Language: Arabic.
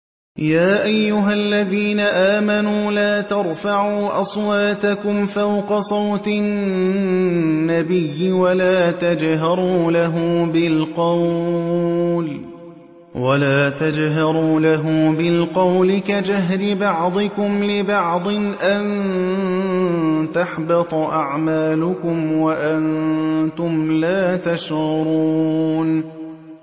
يَا أَيُّهَا الَّذِينَ آمَنُوا لَا تَرْفَعُوا أَصْوَاتَكُمْ فَوْقَ صَوْتِ النَّبِيِّ وَلَا تَجْهَرُوا لَهُ بِالْقَوْلِ كَجَهْرِ بَعْضِكُمْ لِبَعْضٍ أَن تَحْبَطَ أَعْمَالُكُمْ وَأَنتُمْ لَا تَشْعُرُونَ